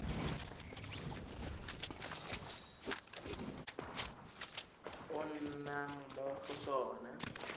o nnang mo go sona